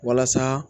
Walasa